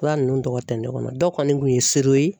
Fura nunnu tɔgɔ tɛ ne kɔnɔ dɔ kɔni kun ye ye